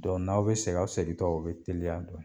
n'aw bi segin aw segintɔ o bi teliya